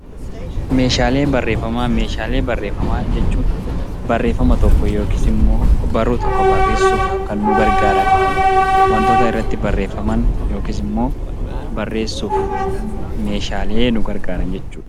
Meeshaalee barreeffamaa Meeshaalee barreeffamaa jechuun barreeffama tokko yookiis immoo og-barruu tokko barreessuuf kan nu gargaaran waantota irratti barreeffaman yookiis immoo barreessuuf Meeshaalee nu gargaaran jechuudha.